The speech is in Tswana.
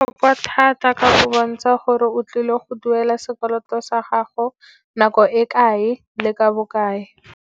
thata ka go bontsha gore o tlile go duela sekoloto sa gago nako e kae le ka bokae.